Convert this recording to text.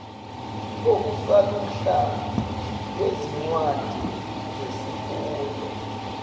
okusaluhla lwezincwadi zesifundo